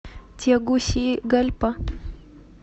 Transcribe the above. тегусигальпа